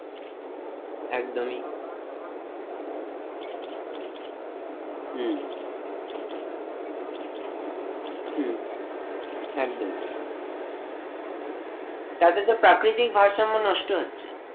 একদমই আমরা হয়তো ভাবছি যে গাছ জন্মাচ্ছে খুব ভালো জিনিস হম কিন্তু সাহারা মরুভূমির মতো জাইগায় গাছ জন্মানো টা একটা অস্বাভাবিক হম বিষয় একদমই তাতে তো প্রাকৃতিক ভারসাম্য নষ্ট হচ্ছে অবশ্যই,